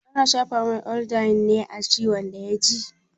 Ana shafa mai iodine a ciwon da ya ji ne?